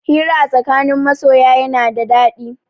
Hira a tsakanin masoya yana da daɗi.